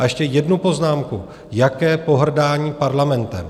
A ještě jednu poznámku: Jaké pohrdání Parlamentem?